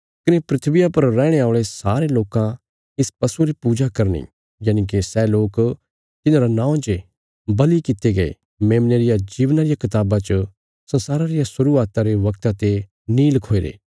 कने धरतिया पर रैहणे औल़े सारे लोकां इस पशुये री पूजा करनी यनिके सै लोक तिन्हांरा नौं जे बल़ि कित्ते गये मेमने रिया जीवना रिया कताबा च संसारा रिया शुरुआता रे बगता ते नीं लखोईरे